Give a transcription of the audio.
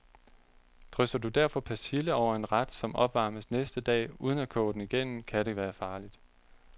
Drysser du derfor persille over en ret, som opvarmes næste dag, uden at koge den igennem, kan det være farligt.